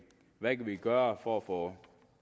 gøre for at få